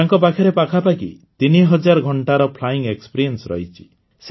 ତାଙ୍କ ପାଖରେ ପାଖାପାଖି ୩ ହଜାର ଘଂଟାର ଫ୍ଲାଇଂ ଏକ୍ସପିରିସ୍ ରହିଛି